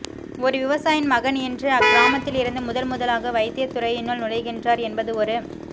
ஒரு விவசாயின் மகன் இன்று அக் கிராமத்தில் இருந்து முதன் முதலாக வைத்தியத் துறையினுள் நுழைகின்றார் என்பது ஒரு